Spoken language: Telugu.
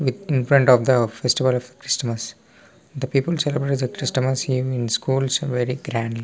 in front of the festival of Christmas the people celebrate the Christmas in schools very grandly --